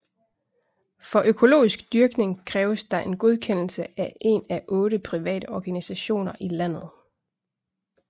For økologisk dyrkning kræves der en godkendelse af en af otte private organisationer i landet